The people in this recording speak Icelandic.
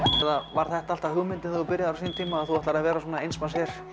var þetta alltaf hugmyndin þegar þú byrjaðir á sínum tíma að þú ætlaðir að vera svona eins manns her